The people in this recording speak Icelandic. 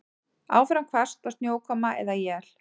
Áfram hvasst og snjókoma eða él